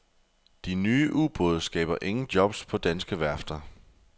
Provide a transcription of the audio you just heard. De nye ubåde skaber ingen jobs på danske værfter.